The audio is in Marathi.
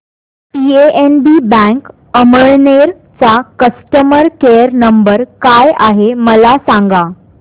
पीएनबी बँक अमळनेर चा कस्टमर केयर नंबर काय आहे मला सांगा